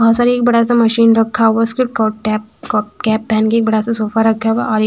बहुत सारी ए बड़ा सा मशीन रखा हुआ है उसपे कॉ टैप कॉप कैप पहेन के एक बड़ा सा सोफा रखा हुआ है और ए--